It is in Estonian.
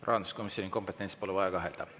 Rahanduskomisjoni kompetentsis pole vaja kahelda.